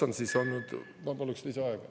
Ma paluks lisaaega.